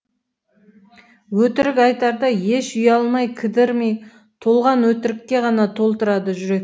өтірік айтарда еш ұялмай кідірмей толған өтірікке ғана толтырады жүрек